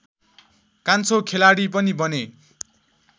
कान्छो खेलाडी पनि बने